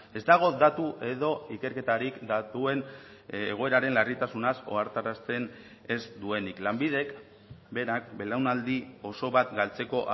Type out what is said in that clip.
ez dago datu edo ikerketarik datuen egoeraren larritasunaz ohartarazten ez duenik lanbidek berak belaunaldi oso bat galtzeko